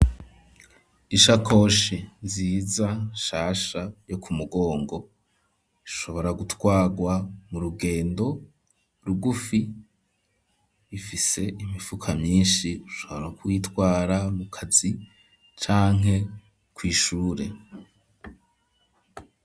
Ishakoshi nziza shasha yo ku mugongo ishobora gutwarwa mu rugendo rugufi ifise imifuka myishi ushobora kuyitwara mu kazi canke kw'ishure.